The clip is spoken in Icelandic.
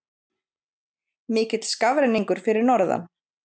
Mikill skafrenningur fyrir norðan